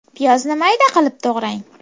Piyozni mayda qilib to‘g‘rang.